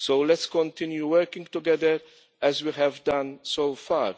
Let's continue working together as we have done so far.